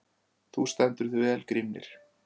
Þú stendur þig vel, Grímnir!